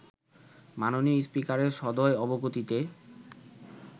মাননীয় স্পিকারের সদয় অবগতিতে